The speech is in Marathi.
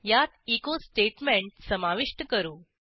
यात एचो स्टेटमेंट समाविष्ट करू